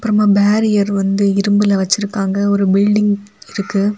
Barrier வந்து இரும்புல வச்சிருக்காங்க ஒரு பில்டிங் இருக்கு.